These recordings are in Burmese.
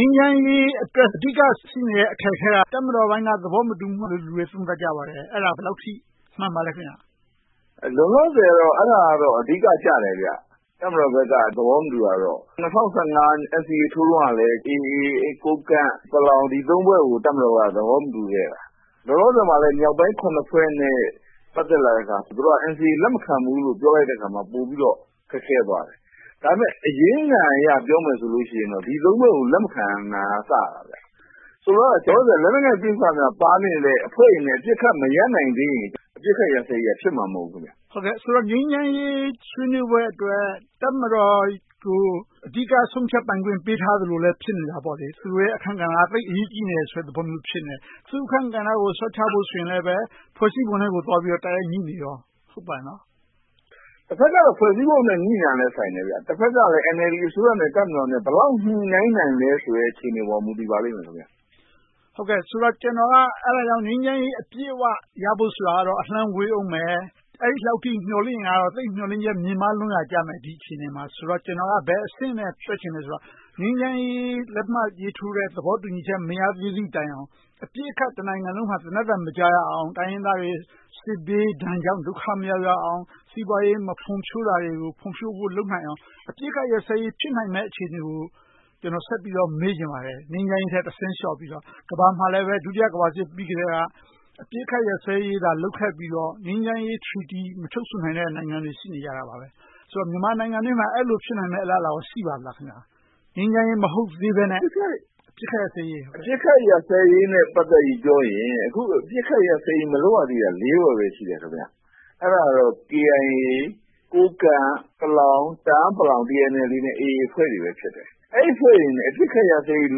မ်းချမ်းရေးအတွက် အဓိက ရှိနေတဲ့ အခက်အခဲက တပ်မတော်ပိုင်းက သဘောမတူမှုတွေ ရှိနေလို့ဆိုပြီး သုံးသပ်ကြပါတယ်။ အဲဒါ ဘယ်လောက်အထိ မှန်ပါသလဲ။ လောလောဆယ်တော့ အဲဒါက အဓိကကျပါတယ်။ တပ်မတော်ဘက်က သဘောမတူတာကတော့ ၂၀၁၅ NCA ထိုးတုန်းကလည်း AA, ကိုးကန့်၊ ပလောင် - ဒီ ဖွဲ့ကို တပ်မတော်က သဘောမတူခဲ့တာ။ လောလောဆယ်မှာလည်း မြောက်ပိုင်း ဖွဲ့နဲ့ ပတ်သက်လာတဲ့အခါ သူတို့က NCA ကို လက်မခံဘူးလို့ ပြောလိုက်တဲ့အခါ ပိုပြီးတော့ ခက်ခဲသွားတယ်။ ဒါပေမဲ့ အရင်ခံအရ ပြောမယ်ဆိုရင် ဒီ ဖွဲ့ကို လက်မခံတာကစတာ ဖြစ်တယ်။ ဆိုလိုတာက လက်နက်ကိုင်ပဋိပက္ခများ ပါနေတဲ့ အဖွဲ့တွေနဲ့ အပစ်ခတ်မရပ်နိုင်သေးရင် အပစ်အခတ်ရပ်စဲရေးက ဖြစ်မှာမဟုတ်ဘူး။ ဆိုတော့ ငြိမ်းချမ်းရေး ဆွေးနွေးပွဲအတွက် တပ်မတော်ကို အဓိက ဆုံးဖြတ်ပိုင်ခွင့် ပေးထားသလို ဖြစ်နေတယ်။ သူတို့ရဲ့ အခန်းကဏ္ဍက သိပ်အရေးကြီးတယ်ဆိုတဲ့သဘော ဖြစ်နေတယ်။ သူ့အခန်းကဏ္ဍကို လျှော့ချဖို့ဆိုရင်လဲ ဖွဲ့စည်းပုံနဲ့ တိုက်ရိုက်ငြိနေတယ် မဟုတ်လား။ တဘက်က ဖွဲ့စည်းပုံနဲ့ ငြိနေတာလည်းဆိုင်တယ်။ တဘက်ကလည်း NLD အစိုးရနဲ့ တပ်မတော် ဘယ်လောက်ညှိနှိုင်းနိုင်သလဲ အခြေအနေပေါ် မူတည်ပါလိမ့်မယ်။ ဒါကြောင့် ကျနော်က ငြိမ်းချမ်းရေး အပြည့်အဝရဖို့ဆိုတာ အလှမ်းဝေးအုံးမယ်။ အဲဒီလောက်အထိ မျှော်လင့်နေရင်တော့ မျှော်လင့်ချက် သိပ်မြင့်မားလွန်ရာကြမယ် ဒီအခြေအနေမှာတော့။ ကျနော်က ဘယ်အဆင့်နဲ့ သွားချင်သလဲဆိုတော့ ငြိမ်းချမ်းရေး လက်မှတ်ရေးထိုးတဲ့ သဘောတူညီချက် မရသေးသည့်တိုင်အောင် အပစ်အခတ် တနိုင်ငံလုံးမှာ သေနတ်သံ မကြားရအောင် တိုင်းရင်းသားတွေ စစ်ဘေးဒဏ်ကြောင့် ဒုက္ခမရောက်ရအောင် စီးပွားရေး မဖွံ့ဖြိုးတာတွေကို ဖွံ့ဖြိုးဖို့ လုပ်နိုင်အောင် အပစ်အခတ်ရပ်စဲရေး ဖြစ်နိုင်မယ့် အခြေအနေကို ကျနော်ဆက်ပြီးတော့ မေးချင်ပါတယ်။ ငြိမ်းချမ်းရေးထက် တဆင့်လျှော့ပြီးတော့ ကမ္ဘာမှာလည်း ဒုတိယကမ္ဘာစစ်ပြီးကတည်းက အပစ်အခတ်ရပ်စဲရေးသာ လုပ်ခဲ့ပြီးတော့ ငြိမ်းချမ်းရေး Treaty မချုပ်ဆိုနိုင်သေးတဲ့ နိုင်ငံတွေ ရှိနေကြပါတယ်။ ဆိုတော့ မြန်မာနိုင်ငံအတွင်းမှာ အဲဒီလို ဖြစ်နိုင်မယ့် အလားအလာ ရှိပါသလား။ ငြိမ်းချမ်းရေး မဟုတ်သေးဘဲနဲ့ အပစ်အခတ်ရပ်စဲရေး။ အပစ်အခတ်ရပ်စဲရေးနဲ့ ပြောရင် အခုအချိန်မှာ အပစ်အခတ်ရပ်စဲရေး မလုပ်ရသေးတာ ဖွဲ့ပဲ ရှိတယ်။ အဲဒါကတော့ KIA, ကိုးကန့်၊ တအာင်း ပလောင်အဖွဲ့တွေနဲ့ AA အဖွဲ့တွေ ဖြစ်ပါတယ်။ အဲဒီအဖွဲ့တွေနဲ့ အပစ်အခတ်ရပ်စဲရေး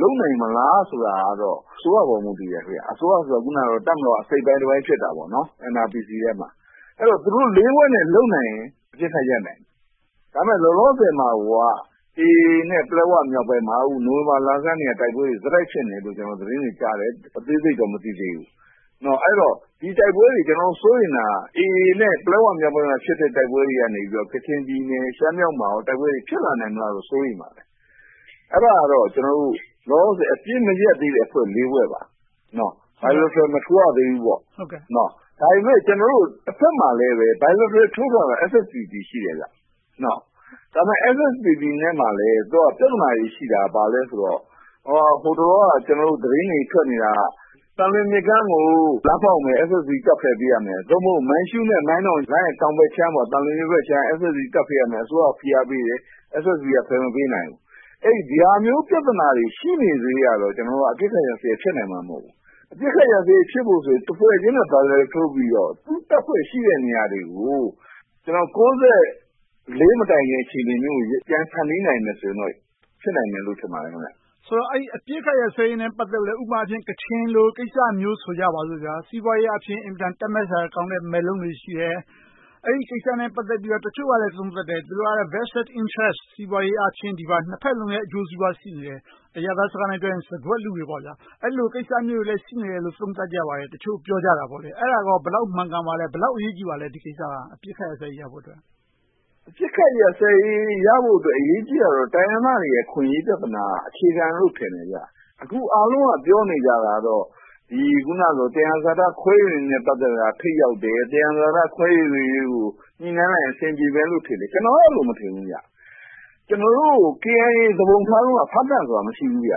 လုပ်နိုင်မလားဆိုတာ အစိုးရအပေါ် မူတည်ပါတယ်။ အစိုးရဆိုတာ အခုနပြောသလို တပ်မတော်က အစိတ်အပိုင်းတပိုင်း ဖြစ်နေတာပေါ့။ NRPC ထဲမှာ။ ဆိုတော့ သူတို့ ဖွဲ့နဲ့ လုပ်နိုင်ရင် အပစ်အခတ်ရပ်စဲရေး ရပ်နိုင်တယ်။ ဒါပေမဲ့ လောလောဆယ်မှာ AA နဲ့ ပလက်ဝမြောက်ပိုင်းမှာ နိုဝင်ဘာလဆန်းကတည်းက တိုက်ပွဲတွေ ဆက်တိုက်ဖြစ်နေတယ်လို့ သတင်းတွေကြားတယ်။ အသေးစိတ်တော့ မသိသေးဘူး။ ဒီတိုက်ပွဲတွေကို ကျနော်တို့ စိုးရိမ်တာက AA နဲ့ ပလက်ဝမြောက်ပိုင်းမှာ ဖြစ်တဲ့ တိုက်ပွဲတွေကနေ ကချင်ပြည်နယ်၊ ရှမ်းမြောက်တို့မှာ တိုက်ပွဲတွေ ဖြစ်လာလေမလားလို့ စိုးရိမ်ပါတယ်။ အဲဒါကတော့ လောလောဆယ် အပစ်မရပ်သေးတဲ့ အဖွဲ့ ဖွဲ့ပါ - bilateral မထိုးရသေးဘူး။ တဘက်မှာလဲ bilateral ထိုးထားတာ SSPP ရှိတယ်။ ဒါပေမဲ့ SSPP နဲ့ ပြဿနာတွေရှိတာ ဘာလဲဆိုတော့ တလောက သတင်းတွေထွက်နေတာက သံလွင်မြစ်ကမ်းကို လမ်းဖောက်မယ် SSA တပ်တွေ ဖယ်ပေးရမယ်။ သို့မဟုတ် မိုင်းရှုးနဲ့ မိုင်းတုံ လမ်းရဲ့တောင်ဘက်ခြမ်း၊ သံလွင်မြစ်ဘက်ခြမ်းက SSA တပ် ဖယ်ပေးရမယ်။ အစိုးရ ဖိအားပေးတယ်၊ SSA က ဖယ်မပေးနိုင်ဘူး။ အဲဒီလို ပြဿနာတွေ ရှိနေသရွေ့ကတော့ အပစ်အခတ်ရပ်စဲရေး ဖြစ်လာနိုင်မှာ မဟုတ်ဘူး။ အပစ်အခတ်ရပ်စဲရေး ဖြစ်ဖို့ဆိုရင် တဖွဲ့ချင်းနဲ့ bilateral ထိုးပြီးတော့ သူတို့တပ်ဖွဲ့တွေ ရှိတဲ့နေရာတွေကို ၉၄ မတိုင်ခင် အခြေအနေမျိုးကို ပြန်ဖန်တီးနိုင်မယ်ဆိုရင် ဖြစ်နိုင်မယ်လို့ ထင်ပါတယ်။ ဆိုတော့ အပစ်အခတ်ရပ်စဲရေးနဲ့ ပတ်သက်လို့ ဥပမာ ကချင်လို ကိစ္စမျိုး ဆိုကြပါစို့။ စီးပွားရေးအားဖြင့် အင်မတန် တတ်မက်စရာကောင်းတဲ့ မက်လုံးတွေ ရှိတယ်။ အဲဒီကိစ္စနဲ့ ပတ်သက်လို့ တချို့ကလဲ သုံးသပ်တယ်။ သူတို့က vested interest စီးပွားရေးအားဖြင့် နှစ်ဘက်စလုံးရဲ့ အကျိုးစီးပွား ရှိနေတယ်။ အရပ်သားစကားနဲ့ပြောရင် စားခွက်လုကြတယ်။ အဲဒီလို ကိစ္စမျိုးတွေလည်း ရှိနေတယ်လို့ သုံးသပ်ကြပါတယ် - တချို့ပြောကြတာပေါ့။ အဲဒါကော ဘယ်လောက် မှန်ကန်ပါလဲ။ ဘယ်လောက် အရေးကြီးပါလဲ။ ဒီကိစ္စက အပစ်အခတ် ရပ်စဲဖို့အတွက်။ အပစ်အခတ်ရပ်စဲဖို့အတွက် အရေးကြီးတာကတော့ တိုင်းရင်းသားတွေရဲ့ အခွင့်အရေး ပြဿနာက အခြေခံလို့ ထင်တယ်။ အခု အားလုံးက ပြောနေကြတာတော့ သယံဇာတ ခွဲဝေမှုက ထိပ်ရောက်တယ်။ သယံဇာတ ခွဲဝေရေးကို ညှိနှိုင်းလိုက်ရင် အဆင်ပြေမယ်လို့ ထင်ကြတယ်။ ကျနော်ကတော့ အဲဒီလို မထင်ဘူး။ ကျနော်တို့ KIA သူပုန်ထတုန်းက ဖားကန့်ဆိုတာ မရှိဘူး။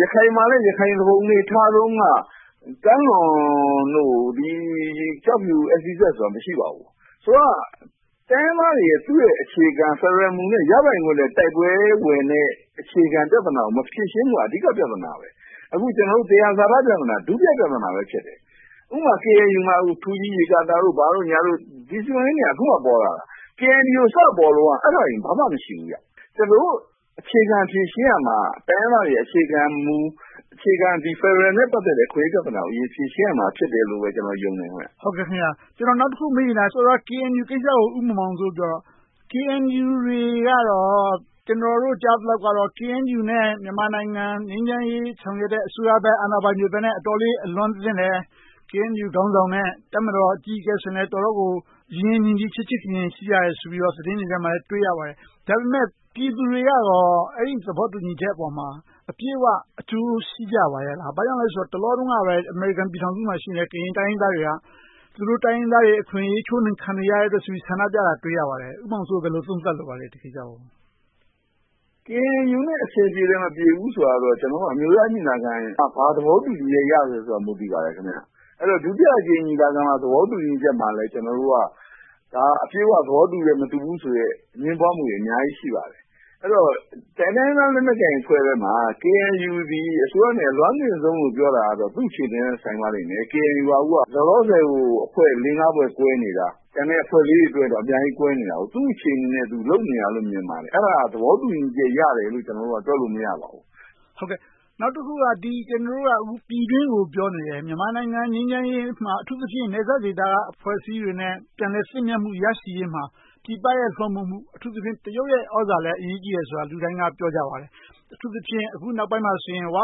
ရခိုင်မှာလည်း ရခိုင်သူပုန်တွေ ထတုန်းက - ကျောက်ဖြူ SEZ ဆိုတာ မရှိပါဘူး။ ဆိုတော့ တိုင်းရင်းသားတွေရဲ့ အခြေခံ ဖယ်ဒရယ်မူနဲ့ ရပိုင်ခွင့်နဲ့ တိုက်ပွဲဝင်တဲ့ အခြေခံပြဿနာကို မဖြေရှင်းနိုင်မှုက အဓိက ပြဿနာ ဖြစ်တယ်။ သယံဇာတ ပြဿနာက ဒုတိယပြဿနာ ဖြစ်တယ်။ ဥပမာ KNU မှာ ထူးကြီးရေကာတာတို့ ဘာတို့ ဒီ စီမံကိန်းတွေက အခုမှ ပေါ်လာတာ။ KNU စပေါ်တုန်းက အဲဒါတွေ ဘာမှမရှိဘူး။ ကျနော်တို့ အခြေခံ ဖြေရှင်းရမှာက တိုင်းရင်းသားတွေရဲ့ အခြေခံမူ၊ အခြေခံ ဖယ်ဒရယ်နဲ့ ပတ်သက်တဲ့ အခွင့်အရေးပြဿနာကို အရင်ဦးဆုံး ဖြေရှင်းရမှာဖြစ်တယ်လို့ ကျနော် ယုံတယ်။ နောက်တခု မေးချင်တာက စောစောက KNU ကိစ္စကို ဦးမောင်မောင်စိုးပြောတော့ KNU ကတော့ ကျနော်တို့ ကြားသိသလောက်တော့ KNU နဲ့ မြန်မာနိုင်ငံ ငြိမ်းချမ်းရေး ဆောင်ရွက်တဲ့ အစိုးရဘက်နဲ့ အာဏာပိုင်တွေနဲ့ အတော်လေး အလွမ်းသင့်တယ်။ KNU ခေါင်းဆောင်နဲ့ တပ်မတော်အကြီးအကဲဆိုရင်လည်း အတော်ကို ရင်းရင်းနှီးနှီး၊ ချစ်ချစ်ခင်ခင် ရှိကြတယ်ဆိုပြီး သတင်းတွေထဲမှာ တွေ့ရပါတယ်။ ဒါပေမဲ့ ပြည်သူတွေကရော အဲဒီသဘောတူညီချက်အပေါ်မှာ အပြည့်အဝ အကျိုးရှိကြပါရဲ့လား။ ဘာကြောင့်လဲဆိုတော့ တလောတုန်းကပဲ အမေရိကန်ပြည်ထောင်စုမှာရှိတဲ့ ကရင်တိုင်းရင်းသားတွေက သူတို့ တိုင်းရင်းသားတွေ အခွင့်အရေး ချိုးနှိမ်ခံနေရတယ်ဆိုပြီး ဆန္ဒပြကြတာကို တွေ့ရပါတယ်။ ဦးမောင်မောင်စိုး ဒီကိစ္စကို ဘယ်လို သုံးသပ်လိုပါလဲ။ KNU နဲ့ အဆင်ပြေတယ်၊ မပြေဘူးဆိုတာကိုတော့ အမျိုးသားညီလာခံမှာ ဘာ သဘောတူညီချက်ရသလဲဆိုတဲ့အပေါ် မူတည်ပါတယ်။ ဒုတိယအကြိမ် ညီလာခံမှာ သဘောတူညီချက်မှာလည်း ကျနော်တို့က အပြည့်အဝ သဘောတူတယ်၊ မတူဘူးဆိုတဲ့ အငြင်းပွားမှုတွေ အများကြီးရှိပါတယ်။ အဲဒီတော့ ကျန်ရှိနေသေးတဲ့ တိုင်းရင်းသားလက်နက်ကိုင်အဖွဲ့တွေထဲမှာ KNU သည် အစိုးရနဲ့ အလွမ်းသင့်ဆုံးလို့ပြောတာတော့ သူ့အခြေအနေနဲ့ ဆိုင်ပါလိမ့်မယ်။ KNU က လောလောဆယ်မှာ အဖွဲ့ လေးငါးဖွဲ့ ကွဲနေတာ၊ ကျန်တဲ့အဖွဲ့လေးတွေအတွင်းမှာလည်း အများကြီးကွဲနေတာ။ သူ့အခြေအနေနဲ့ သူ လုပ်နေတာလို့ မြင်ပါတယ်။ အဲဒါကို သဘောတူညီချက် ရတယ်လို့ ကျနော်တို့က တွက်လို့မရပါဘူး။ နောက်တခုက ကျနော်တို့က ပြည်တွင်းကို ပြောနေတယ်။ မြန်မာနိုင်ငံ ငြိမ်းချမ်းရေးမှာ အထူးသဖြင့် နယ်စပ်ဒေသက အဖွဲ့အစည်းတွေနဲ့ ပြန်လည်သင့်မြတ်မှု ရရှိရေးမှာ ပြည်ပရဲ့ လွှမ်းမိုးမှု၊ အထူးသဖြင့် တရုတ်ရဲ့ သြဇာလည်း အရေးကြီးတယ်ဆိုတာကို လူတိုင်းပြောကြပါတယ်။ အထူးသဖြင့် အခုနောက်ပိုင်းမှာဆိုရင် ‘ဝ’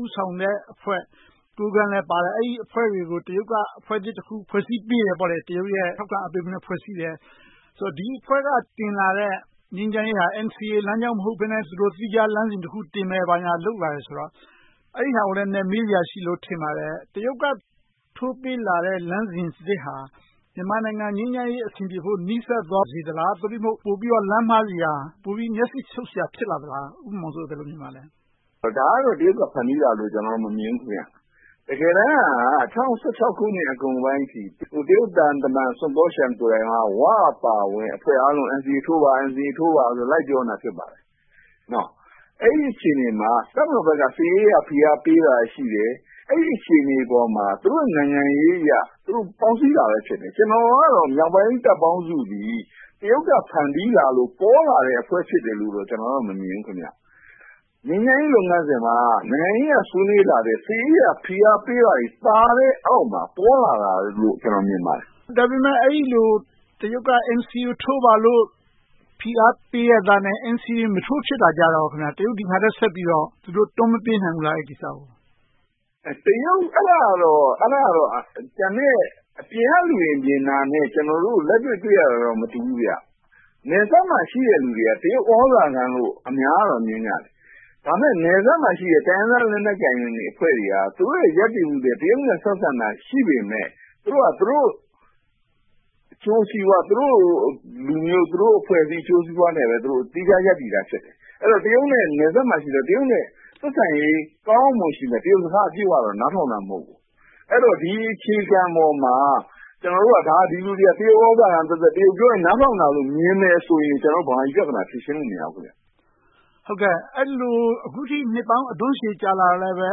ဦးဆောင်တဲ့အဖွဲ့ ကိုးကန့်လည်းပါတယ်။ အဲဒီအဖွဲ့တွေကို တရုတ်က အဖွဲ့သစ်တဖွဲ့ ဖွဲ့စည်းပေးတယ်။ တရုတ်ရဲ့ ထောက်ခံမှုနဲ့ ဖွဲ့စည်းတယ်။ ဒီအဖွဲ့က တင်လာတဲ့ ငြိမ်းချမ်းရေးဟာ NCA လမ်းကြောင်းမဟုတ်ဘဲနဲ့ သီးခြားလမ်းစဉ်တင်မယ်။ ဘာညာလုပ်လာတယ်ဆိုတော့ အဲဒါကိုလည်း နည်းနည်းမေးစရာရှိတယ်လို့ ထင်ပါတယ်။ တရုတ်က ထိုးပေးလာတဲ့ လမ်းစဉ်သစ်ဟာ မြန်မာနိုင်ငံ ငြိမ်းချမ်းရေး အဆင်ပြေသွားစေဖို့ နီးစပ်စေသလား။ သို့တည်းမဟုတ် လမ်းမှားစရာ၊ ပိုပြီးမျက်စိရှုပ်စရာ ဖြစ်လာသလား။ ဦးမောင်မောင်စိုး ဘယ်လိုမြင်ပါသလဲ။ ဒါကိုတော့ တရုတ်က ဖန်တီးတယ်လို့ မမြင်ပါဘူး။ တကယ်တမ်းက ၂၀၁၆ အကုန်ပိုင်းအထိ တရုတ်သံတမန်ကိုယ်တိုင်က ‘ဝ’ အပါအဝင် အဖွဲ့အားလုံးကို NCA ထိုးပါဆိုပြီး လိုက်ပြောနေတာ ဖြစ်ပါတယ်။ အဲဒီအခြေအနေမှာ တပ်မတော်ဘက်က စစ်ရေးအရ ဖိအားပေးတာရှိတယ်။ အဲဒီအခြေအနေပေါ်မှာ သူတို့နိုင်ငံရေးအရ သူတို့ပေါင်းစည်းတာပဲ ဖြစ်တယ်။ မြောက်ပိုင်းတပ်ပေါင်းစုသည် တရုတ်က ဖန်တီးလာလို့ ပေါ်လာတဲ့ အဖွဲ့ဖြစ်တယ်လို့တော့ ကျနော်က မမြင်ဘူး။ ငြိမ်းချမ်းရေး လုပ်ငန်းစဉ်မှာ နိုင်ငံရေးအရ ဆွေးနွေးလာတဲ့ စစ်ရေးအရ ဖိအားပေးတာတွေ ပါတဲ့အောက်မှာ ပေါ်လာတယ်လို့ ကျနော်မြင်ပါတယ်။ အဲဒီလို တရုတ်က NCA ကို ထိုးပါလို့ ဖိအားပေးရဲ့သားနဲ့ NCA မထိုးဖြစ်တာ - တရုတ်က ဒီဟာထက်ဆက်ပြီးတော့ ဒီကိစ္စကို တွန်းမပေးနိုင်ဘူးလား။ အဲဒါကတော့ ကျန်တဲ့အပြင်ကလူတွေ မြင်တာနဲ့ ကျနော်တို့ လက်တွေ့တွေ့နေရတာတော့ မတူဘူး။ နယ်စပ်မှာရှိတဲ့ လူတွေက တရုတ်သြဇာခံလို့ အများက မြင်ကြတယ်။ ဒါပေမဲ့ နယ်စပ်မှာရှိတဲ့ တိုင်းရင်းသားလက်နက်ကိုင်အဖွဲ့တွေက သူတို့ရဲ့ ရပ်တည်မှုတွေက တရုတ်နဲ့ ဆက်ဆံတာ ရှိပေမယ့် သူတို့က သူတို့အကျိုးစီးပွား၊ သူတို့လူမျိုး၊ သူတို့အဖွဲ့အစည်း အကျိုးစီးပွားနဲ့ပဲ သီးခြားရပ်တည်တာ ဖြစ်တယ်။ တရုတ်နဲ့နယ်စပ်မှာ ဆက်ဆံရေး ကောင်းကောင်းမွန်မွန်ရှိမယ်။ တရုတ်စကား အပြည့်အဝ နားထောင်တာ မဟုတ်ဘူး။ အဲဒီတော့ ဒီအခြေခံပေါ်မှာ ကျနော်တို့က ဒီလူတွေက တရုတ်သြဇာခံသက်သက်၊ တရုတ်ပြောရင် နားထောင်တာလို့ မြင်တယ်ဆိုရင် ကျနော်တို့ ဗမာပြည်ပြဿနာ ဖြေရှင်းလို့ မရဘူး။ အခုအထိ နှစ်ပေါင်းများစွာ အဓွန့်ရှည်ကြာလာတော့လဲ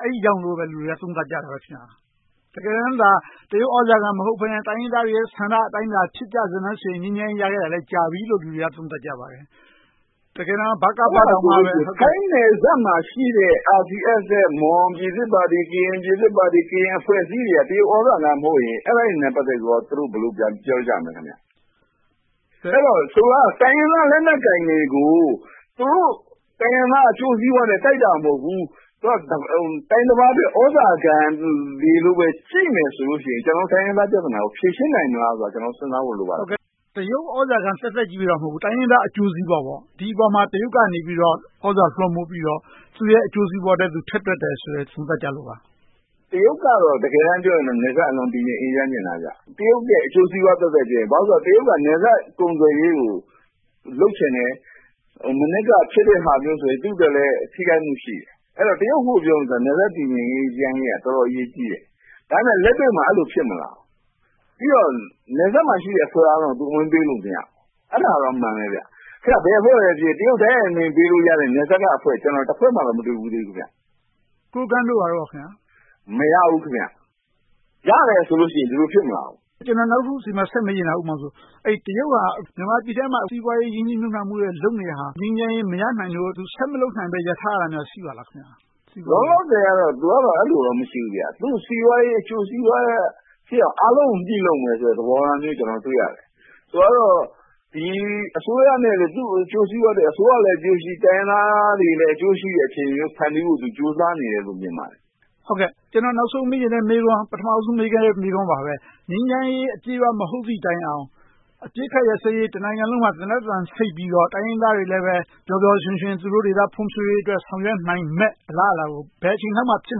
အဲဒီကြောင့်လို့ လူတွေက သုံးသပ်ကြတာ။ တကယ်တမ်းသာ တရုတ်သြဇာခံ မဟုတ်ဘဲနဲ့ တိုင်းရင်းသားတွေရဲ့ဆန္ဒအတိုင်းသာ ဖြစ်ကြစတမ်းဆိုရင် ငြိမ်းချမ်းရေးရခဲ့တာ ကြာပြီလို့ လူတွေက သုံးသပ်ကြပါတယ်။ ထိုင်းနယ်စပ်မှာရှိတဲ့ RCSS, မွန်ပြည်သစ်ပါတီ၊ ကရင်ပြည်သစ်ပါတီ၊ ကရင်အဖွဲ့အစည်းတွေက တရုတ်သြဇာခံမဟုတ်ရင် အဲဒါနဲ့ ပတ်သက်ပြီး သူတို့ ဘယ်လိုပြန်ပြောကြမလဲ။ ဆိုလိုတာက တိုင်းရင်းသားလက်နက်ကိုင်တွေကို သူတို့ တိုင်းရင်းသား အကျိုးစီးပွားအတွက် တိုက်တာမဟုတ်ဘူး။ တိုင်းတပါးရဲ့ သြဇာခံတွေလို့ ကြည့်နေမယ်ဆိုရင် ကျနော်တို့ တိုင်းရင်းသားပြဿနာကို ဖြေရှင်းနိုင်မလားဆိုတာကို ကျနော်တို့ စဉ်းစားဖို့ လိုပါတယ်။ တရုတ် သြဇာခံသက်သက်ကြီးတော့ မဟုတ်ဘူး။ တိုင်းရင်းသားအကျိုးစီးပွား။ ဒီအပေါ်မှာ တရုတ်ကနေပြီတော့ သြဇာလွှမ်းမိုးပြီးတော့ သူတို့ အကျိုးစီးပွားအတွက် ထည့်တွက်တယ်လို့ သုံးသပ်ကြပါတယ်။ တရုတ်ကတော့ တကယ်တမ်းပြောရင် နယ်စပ်အလွန်အေးချမ်းစေချင်တာ။ တရုတ်ရဲ့ အကျိုးစီးပွားသက်သက်ဖြစ်တယ်။ တရုတ်က နယ်စပ်ကုန်သွယ်ရေးကို လုပ်ချင်တယ်။ မနက်က ဖြစ်တဲ့ဟာမျိုးဆိုရင် သူ့အတွက်လည်း ထိခိုက်မှုရှိတယ်။ တရုတ်အတွက် နယ်စပ်တည်ငြိမ်အေးချမ်းရေးက အတော်အရေးကြီးတယ်။ ဒါပေမဲ့ လက်တွေ့မှာ အဲဒီလို မဖြစ်လာဘူး။ ပြီးတော့ နယ်စပ်မှာရှိတဲ့ အဖွဲ့အားလုံးကို သူ ဝင်ပေးလို့မရဘူး။ အဲဒါက အမှန်ပဲ။ ဘယ်အဖွဲ့ပဲဖြစ်ဖြစ် တရုတ် တိုက်ရိုက်အမိန့်ပေးလို့ရတဲ့ အဖွဲ့ နယ်စပ်မှာ ဘယ်အဖွဲ့မှ မတွေ့ဖူးသေးဘူး။ ကိုးကန့်တို့ ဘာတို့ကော။ မရဘူး။ ရတယ်ဆိုရင် ဒီလို ဖြစ်မလာဘူး။ နောက်တခု ဆက်မေးချင်တာက တရုတ်က မြန်မာပြည်တွင်းမှာ စီးပွားရေး ရင်းနှီးမြုပ်နံှမှုတွေ လုပ်နေတာ ငြိမ်းချမ်းရေး မရနိုင်လို့၊ ဆက်မလုပ်နိုင်လို့ ရပ်ထားရတာ ရှိပါသလား။ လောလောဆယ်တော့ သူကတော့ အဲဒီလိုမျိုး မရှိဘူး။ သူ့စီးပွားရေး အကျိုးစီးပွားဖြစ်အောင် အားလုံးကို ညှိလုပ်မယ့်သဘောထားမျိုး တွေ့ရတယ်။ ဆိုပါတော့ ဒီအစိုးရနဲ့ သူ့အကျိုးစီးပွားအတွက် အစိုးရလည်း အကျိုးရှိ၊ တိုင်းရင်းသားတွေလည်း အကျိုးရှိမယ့် အခြေအနေမျိုး ဖန်တီးဖို့ ကြိုးစားနေတယ်လို့ မြင်ပါတယ်။ ကျနော် နောက်ဆုံးမေးချင်တဲ့မေးခွန်း၊ ပထမဦးဆုံး မေးခဲ့တဲ့ မေးခွန်းပါ။ ငြိမ်းချမ်းရေး အပြည့်အဝ မဟုတ်သည်တိုင်အောင် တနိုင်ငံလုံး အပစ်အခတ်ရပ်စဲရေး၊ သေနတ်သံဆိတ်ပြီးတော့ တိုင်းရင်းသားတွေလည်း ပျော်ပျော်ရွှင်ရွှင်နဲ့ သူတို့ဒေသ ဖွံ့ဖြိုးရေးအတွက် ဆောင်ရွက်နိုင်မယ့် အလားအလာကို ဘယ်အချိန်လောက်မှာ ဖြစ်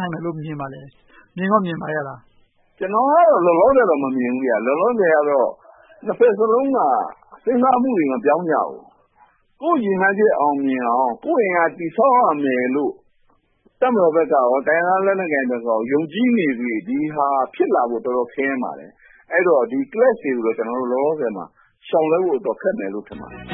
နိုင်မယ်လို့ မြင်ပါသလဲ။ မြင်ကောမြင်ပါရဲ့လား။ ကျနော်ကတော့ လောလောဆယ်တော့ မမြင်ဘူး။ လောလောဆယ်တော့ နှစ်ဘက်စလုံးက စဉ်းစားမှုတွေ မပြောင်းကြဘူး။ ကိုယ့်ရည်မှန်းချက် အောင်မြင်အောင် ကိုယ့်အင်အား တည်ဆောက်ရမယ်လို့ တပ်မတော်ဘက်ကရော၊ တိုင်းရင်းသားလက်နက်ကိုင်အဖွဲ့တွေ ယုံကြည်နေသရွေ့ ဒီဟာက ဖြစ်လာဖို့ တော်တော်ခက်ခဲပါတယ်။ အဲဒီတော့ ဒီ Clashes တွေကို လောလောဆယ်မှာ ရှောင်လွှဲဖို့ အတော်ခက်မယ်လို့ ထင်ပါတယ်။